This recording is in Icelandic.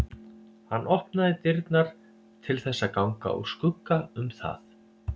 Hann opnaði dyrnar til þess að ganga úr skugga um það.